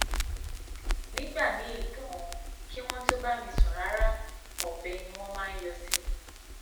nígbà míín ganan kí wọn tóó bá mi sùn rárá ọbẹ ni wọn máa yọ sí mi